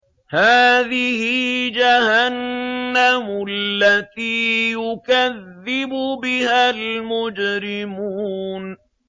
هَٰذِهِ جَهَنَّمُ الَّتِي يُكَذِّبُ بِهَا الْمُجْرِمُونَ